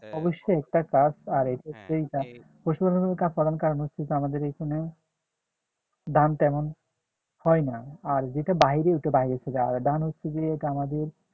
অবশ্যই একটা কাজ আর এইটা হচ্ছে পশুপালনের কারন হচ্ছে আমাদের এখানে ধান তেমন হয় না আর যেটা বাহিরে সেটা বাহিরে থাকে আর ধান হচ্ছে যে এটা আমাদের